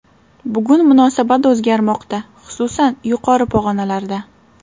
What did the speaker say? Bugun munosabat o‘zgarmoqda, xususan, yuqori pog‘onalarda.